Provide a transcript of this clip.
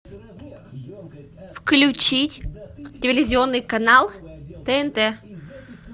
включить телевизионный канал тнт